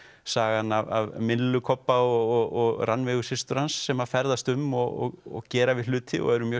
sagan af myllu Kobba og Rannveigu systur hans sem ferðast um og gera við hluti og eru mjög